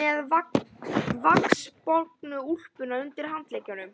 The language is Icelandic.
með vaxbornu úlpuna undir handleggnum.